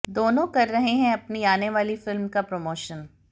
दोनों कर रहे हैं अपनी आने वाली फिल्म का प्रमोशन